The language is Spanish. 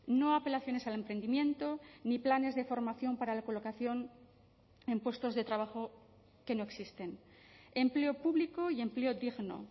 no a apelaciones al emprendimiento ni planes de formación para la colocación en puestos de trabajo que no existen empleo público y empleo digno